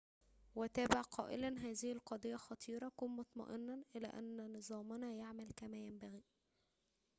وتابع قائلاّ هذه القضيّة خطيرةٌ كن مطمئناً إلى أن نظامنا يعمل كما ينبغي